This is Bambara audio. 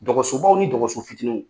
Dɔgɔso baw ni dɔgɔso fitininw.